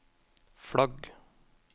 flagg